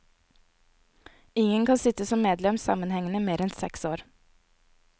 Ingen kan sitte som medlem sammenhengende mer enn seks år.